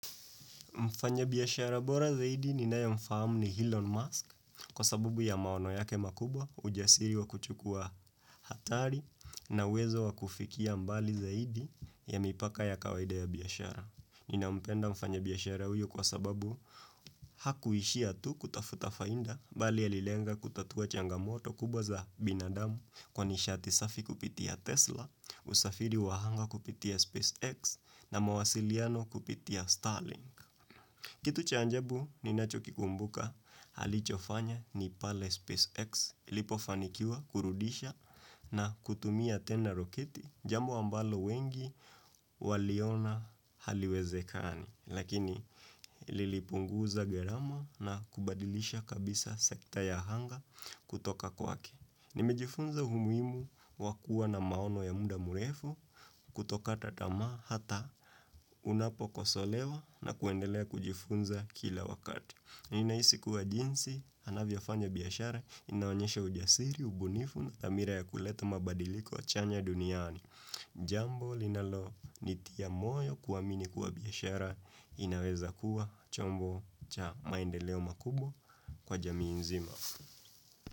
Mfanya biashara bora zaidi ninaye mfahamu ni Elon Musk kwa sababu ya maono yake makubwa ujasiri wa kuchukua hatari na uwezo wa kufikia mbali zaidi ya mipaka ya kawaida ya biashara. Nina mpenda mfanya biashara uyu kwa sababu hakuishia tu kutafuta faida bali alilenga kutatua changamoto kubwa za binadamu kwa nishaati safi kupitia Tesla, usafiri wa anga kupitia SpaceX na mawasiliano kupitia Starlink. Kitu cha ajabu ninacho kikumbuka alichofanya ni pale Space X ilipofanikiwa kurudisha na kutumia tena roketi jambo ambalo wengi waliona haliwezekani. Lakini lilipunguza gharama na kubadilisha kabisa sekta ya anga kutoka kwake. Nimejifunza umuhimu wa kua na maono ya muda mrefu kutokata tamaa hata unapokosolewa na kuendelea kujifunza kila wakati. Ninahisi kuwa jinsi, anavyofanya biashara, inaonyesha ujasiri, ubunifu na thamira ya kuleta mabadiliko chanya duniani. Jambo linalo nitia moyo kuamini kuwa biashara inaweza kuwa chombo cha maendeleo makubwa kwa jamii nzima.